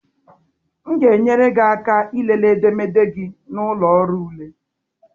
M ga-enyere gị aka ịlele edemede gị na ụlọ ọrụ ule.